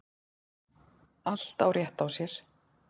Allt á rétt á sér.